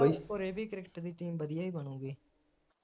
ਹੋਰ ਇਹ ਵੀ cricket ਦੀ team ਵਧੀਆ ਈ ਬਣੂਗੀ